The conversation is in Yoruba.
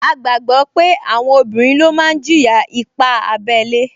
A gbàgbọ́ pé àwọn obìnrin ló máa jìyà ipá abẹ́lé